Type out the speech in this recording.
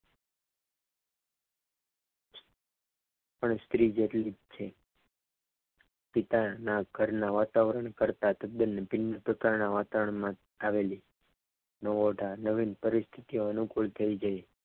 પણ સ્ત્રી જેટલી જ છ પિતાના ઘરના વાતાવરણ કરતાં તદ્દન ભિન્ન પ્રકારના વાતાવરણમાં આવેલી છે નવીન પરિસ્થિતિ અનુકૂળ થઈ ગઈ.